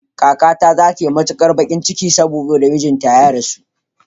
Kakata za ta yi matukar bakin ciki saboda mijinta ya rasu.